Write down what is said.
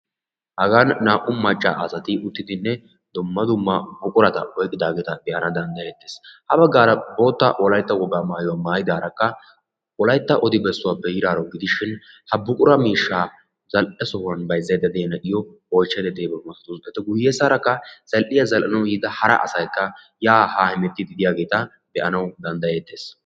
Hagan naa"u macca asati uttidinne dumma dumma buqurata oyiqqidaageeta be'ana danddayettees. Habaggaara bootta wolayitta wogaa mayuwa mayidaarakka wolayitta odibessuwa be'idaaro gidishin ha buqura miishshaa zal'e sohuwan bayizzayidda diyaro oyichchayidda diyabaa masatawusu. Eta guyyessaarakka zal'iya zal'anawu yiida hara asayikka yaa haa hemettiiddi de'iyageeta be'anawu danddayettees.